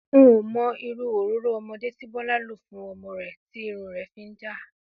N ò mo̩ irú òróró o̩mo̩dé tí Bó̩lá lò fún o̩mo̩ rè̩ tí irun rè̩ fi ń já